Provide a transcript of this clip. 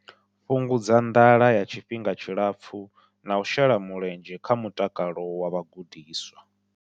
Fhungudza nḓala ya tshifhinga tshipfufhi na u shela mulenzhe kha mutakalo wa vhagudiswa.